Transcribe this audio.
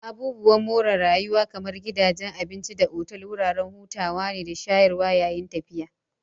Abubuwan more rayuwa kamar gidajen abinci da otal wuraren hutawa ne da shayarwa yayin tafiya